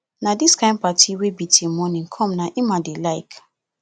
na dis kin party wey be till morning come na im i dey like